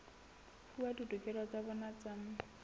fuwa ditokelo tsa bona tsa